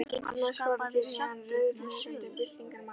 Annars farið þér héðan rauðglóandi byltingarmaður.